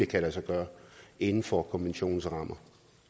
kan lade sig gøre inden for konventionens rammer